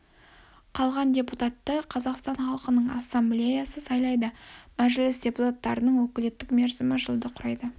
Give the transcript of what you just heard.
қалған депутатты қазақстан халықының ассамблеясы сайлайды мәжіліс депутаттарының өкілеттік мерзімі жылды құрайды